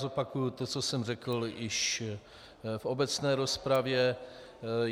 Zopakuju to, co jsem řekl již v obecné rozpravě.